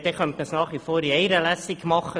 Damit wäre nach wie vor eine Lesung möglich.